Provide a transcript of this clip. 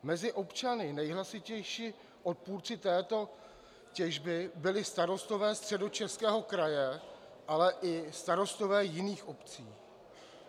Mezi občany nejhlasitější odpůrci této těžby byli starostové Středočeského kraje, ale i starostové jiných obcí.